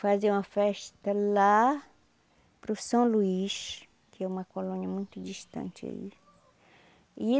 Faziam a festa lá para o São Luís, que é uma colônia muito distante aí e.